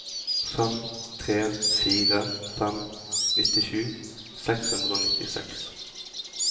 fem tre fire fem nittisju seks hundre og nittiseks